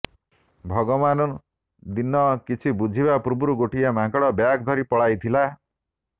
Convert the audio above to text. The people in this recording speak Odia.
ଭଗବାନଦିନ କିଛି ବୁଝିବା ପୂର୍ବରୁ ଗୋଟିଏ ମାଙ୍କଡ ବ୍ୟାଗ ଧରି ପଳାଇଥିଲା